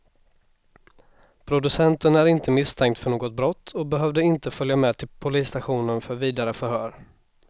Producenten är inte misstänkt för något brott och behövde inte följa med till polisstationen för vidare förhör.